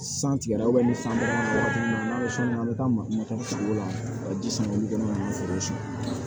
San tigɛra ni san nana an bɛ taa makɔnɔ sigi o la ka ji sama olu gɔnɔ kan ka foro tiɲɛ